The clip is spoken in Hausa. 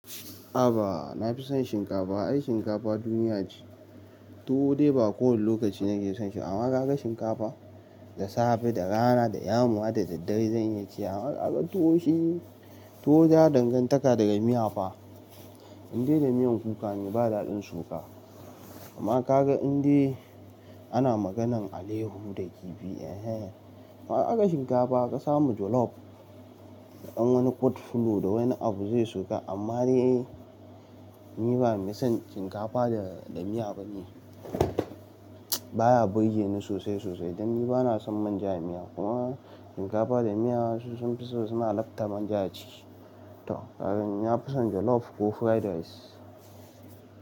Haba na fi son shinkafa. Ai shinkafa duniya ce. Tuwo dai ba kowane lokaci nake son shi. Amma ka ga shinkafa da safe, da rana, da yamma, da daddare zan iya ci amma ka ga tuwo shi, tuwo yana dangantaka daga miya fa. Indai da miyan kuka ne ba daɗin ciwofa. Amma ka ga indai ana maganan alaiyahu da kifi, eh hen. Amma ka ga shinkafa ka samu jollof, da ɗan wani kwut fulo da wani abu zai shiga. Amma dai ni ba mai son shinkafa da miya bane. Ba ya burge ni sosai sosai dan ni bana son manja a miya. Kuma shinkafa da miya su sun fiso suna lafta manja aciki. To, kaga ni na fi son jollof ko fried rice.